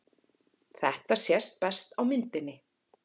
Þetta sést best á myndinni.